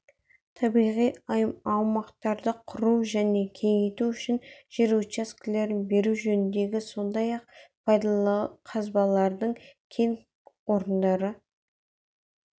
табиғи аумақтарды құру және кеңейту үшін жер учаскелерін беру жөніндегі сондай-ақ пайдалы қазбалардың кен орындары